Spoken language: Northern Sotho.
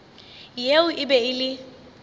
yeo e be e le